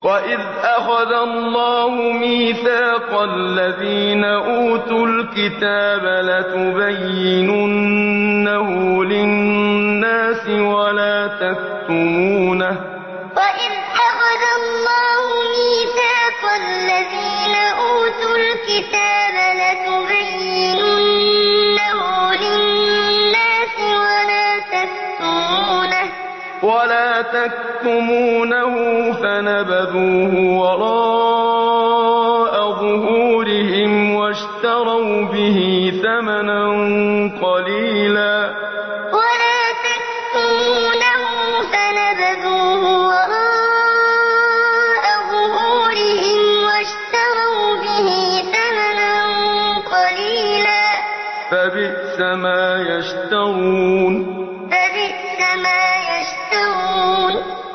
وَإِذْ أَخَذَ اللَّهُ مِيثَاقَ الَّذِينَ أُوتُوا الْكِتَابَ لَتُبَيِّنُنَّهُ لِلنَّاسِ وَلَا تَكْتُمُونَهُ فَنَبَذُوهُ وَرَاءَ ظُهُورِهِمْ وَاشْتَرَوْا بِهِ ثَمَنًا قَلِيلًا ۖ فَبِئْسَ مَا يَشْتَرُونَ وَإِذْ أَخَذَ اللَّهُ مِيثَاقَ الَّذِينَ أُوتُوا الْكِتَابَ لَتُبَيِّنُنَّهُ لِلنَّاسِ وَلَا تَكْتُمُونَهُ فَنَبَذُوهُ وَرَاءَ ظُهُورِهِمْ وَاشْتَرَوْا بِهِ ثَمَنًا قَلِيلًا ۖ فَبِئْسَ مَا يَشْتَرُونَ